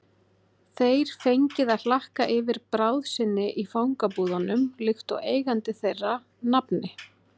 þeir fengið að hlakka yfir bráð sinni í fangabúðunum líkt og eigandi þeirra, nafni